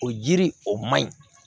O yiri o man ɲi